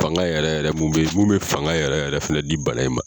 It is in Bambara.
Fanga yɛrɛ yɛrɛ mun bɛ yen mun bɛ fanga yɛrɛ yɛrɛ filɛ nin bana in ma